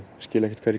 skil ekkert hvað